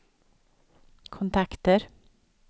kontakter